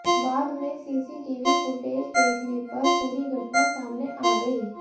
बाद में CCTV footage देखने पर पूरी घटना सामने आ गई